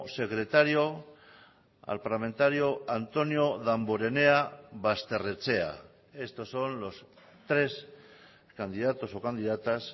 secretario al parlamentario antonio damborenea basterrechea estos son los tres candidatos o candidatas